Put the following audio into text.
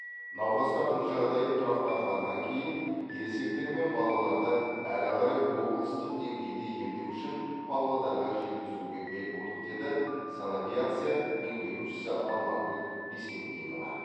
науқастардың жағдайы тұрақтанғаннан кейін ересектер мен балаларды әрі қарай облыстық деңгейде емдеу үшін павлодарға жеткізуге бел будық деді санавиация меңгерушісі алмагүл бесембинова